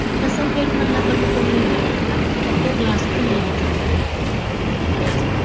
तसं पेठ मधलं बंड कोणी मोडून काढला? तर तो ग्लासपूल नावाचा अधिकारीये. कोणता अधिकारीये? ग्लासपूल.